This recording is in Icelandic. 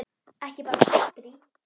Ekki bara kántrí?